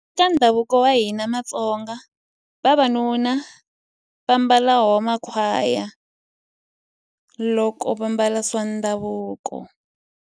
Eka ndhavuko wa hina matsonga vavanuna va mbala wona makhwaya loko va ambala swa ndhavuko.